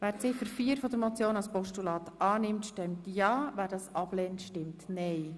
Wer Ziffer 4 als Postulat annimmt, stimmt ja, wer das ablehnt, stimmt nein.